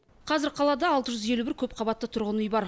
қазір қалада алты жүз елу бір көпқабатты тұрғын үй бар